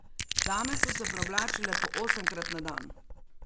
Dame so se preoblačile po osemkrat na dan.